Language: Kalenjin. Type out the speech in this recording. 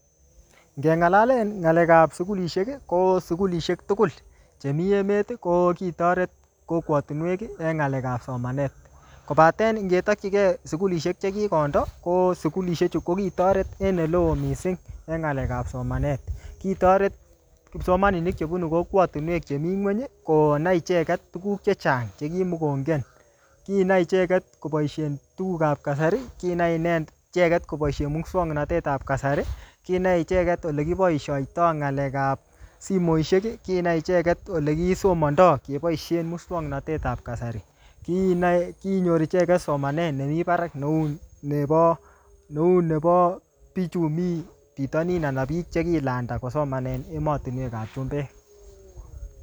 Ngeng'alalen ngalekap sukulishek, ko sukulishek tugul chemii emet, ko kitoret kokwotunwek en ng'alekap somanet. Kobaten ngetakchikei sukulishek che kikondo, ko sukulishek chu ko kitoret en ole oo missing en ng'alekap somanet. Kitoret kipsomaninik che bunu kokwatunwek chemii ng'uny, konai icheket tuguk chechang che kimukongen. Kinai icheket koboisien tugukap kasari, kinai icheket koboisien muswoknotetap kasari, kinai icheket ole kiboisoitoi ng'alekap simoishek, kinai icheket ole kisomandoi keboisien muswoknotetap kasari. Kinai kinyor icheket somanet nemii barak neuu nebo-neu nebo bichu mii bitonin anan biik che kilanda kosoman en emotunwekap chumbek.